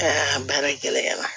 Aa baara gɛlɛya la